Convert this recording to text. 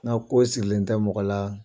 N'o ko sirilen tɛ mɔgɔ la